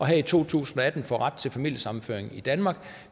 her i to tusind og atten får ret til familiesammenføring i danmark